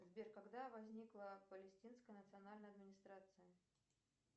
сбер когда возникла палестинская национальная администрация